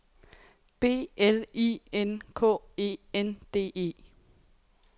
B L I N K E N D E